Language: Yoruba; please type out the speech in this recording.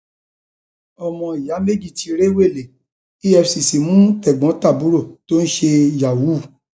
ọmọ ìyá méjì tí rèwé efcc mú tègbọntàbúrò tó ń ṣe yahoo